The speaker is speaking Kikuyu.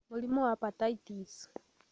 Mũrimũ wa Pertussis: